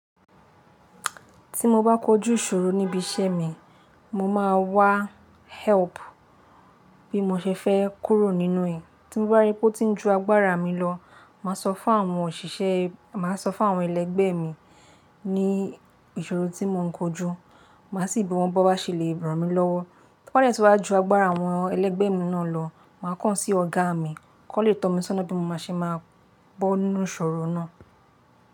Tí mo bá kójú ìṣòro níbi iṣẹ́ mi, mo máa wá help bí mo ṣe fẹ́ kúrò nínú ẹ̀. Tí mo bá ríi pé ó tí ń ju agbára mi lọ, màá sọ fún àwọn òṣìṣẹ́, màá sọ fún àwọn ẹlẹgbẹ́ mi ní ìṣòro tí mò ń kojú, màá sì bí wọ́n bó bá ṣe lè ràn mí lọ́wọ́. Bó tí wọ́n bá ju agbára àwọn ẹlẹgbẹ́ mi náà lọ, màá kàn án sí ọ̀gá mi kó lè tọ́ mi sọ́ná bí mó ṣe máa bọ́ nínú ìṣòro náà.